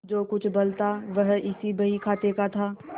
जो कुछ बल था वह इसी बहीखाते का था